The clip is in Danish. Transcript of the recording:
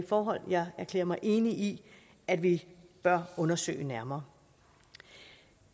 forhold jeg erklærer mig enig i at vi bør undersøge nærmere